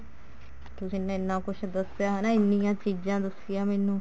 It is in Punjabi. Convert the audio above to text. ਤੁਸੀਂ ਨੇ ਇੰਨਾ ਕੁੱਛ ਦੱਸਿਆ ਹਨਾ ਇੰਨੀਆਂ ਚੀਜ਼ਾਂ ਦੱਸਿਆ ਮੈਨੂੰ